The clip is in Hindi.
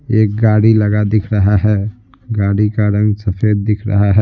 एक गाड़ी लगा दिख रहा है गाड़ी का रंग सफेद दिख रहाह--